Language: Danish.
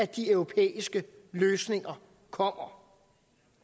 de europæiske løsninger kommer